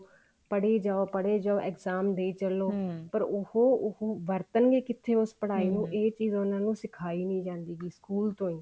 ਪੜ੍ਹੀ ਜਾਓ ਪੜ੍ਹੀ ਜੀਓ exam ਚੱਲੋ ਪਰ ਉਹ ਉਹ ਵਰਤਣਗੇ ਕਿੱਥੇ ਉਸ ਪੜ੍ਹਾਈ ਨੂੰ ਇਹ ਚੀਜ਼ ਉਹਨਾ ਨੂੰ ਸਿਖਾਈ ਨੀ ਜਾਂਦੀ ਵੀ ਸਕੂਲ ਤੋਂ